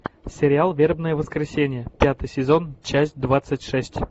сериал вербное воскресенье пятый сезон часть двадцать шесть